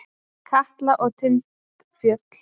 Katla og Tindfjöll.